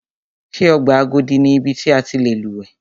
Ṣé ọgbà Agodi ni ibi ti a ti lè lúwẹ̀ẹ́.